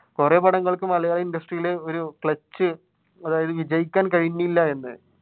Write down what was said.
കുറെ പടങ്ങൾക്ക് malayalam industry ഇൽ ഒരു അതായത് വിജയിക്കാൻ കഴിഞ്ഞില്ല എന്ന്